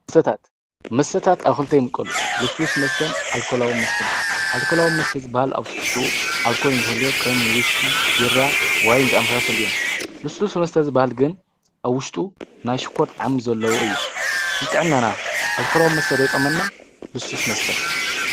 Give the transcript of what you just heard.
መስተታት ኣብ ክልተ ይምቀሉ። ልስሉስ መስተን ኣልኮላዊ መስተን ይባህሉ። ኣልኮላዊ መስተ ኣብ ትሕዝትኡ ኣልኮል እትልህልዮ ከም ውስኪ፣ ቢራ፣ ወይን ዝኣሰመሉ እዮም። ልስሉስ መስተ ዝባህል ግን ኣብ ውሽጡ ናይ ሽኮር ጣዕሚ ዘለዎ ።ንጥዕናና ኣልኮላዊ መስተ ዶ ይጠቕመና ልስሉስ መስተ?